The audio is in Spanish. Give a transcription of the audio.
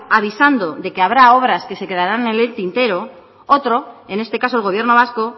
avisando de que habrá obras que se quedarán en el tintero otro en este caso el gobierno vasco